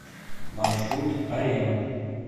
маршрут арена